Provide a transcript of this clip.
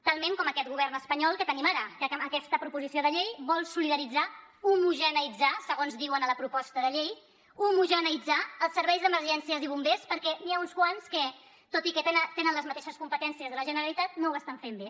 talment com aquest govern espanyol que tenim ara que amb aquesta proposició de llei vol solidaritzar homogeneïtzar segons diuen a la proposta de llei homogeneïtzar els serveis d’emergències i bombers perquè n’hi ha uns quants que tot i que tenen les mateixes competències que la generalitat no ho estan fent bé